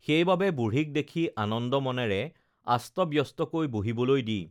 সেইবাবে বুঢ়ীক দেখি আনন্দ মনেৰে আস্তব্যস্তকৈ বহিবলৈ দি